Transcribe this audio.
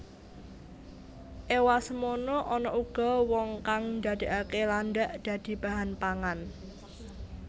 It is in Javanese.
Ewasemono ana uga wong kang ndadeake landhak dadi bahan pangan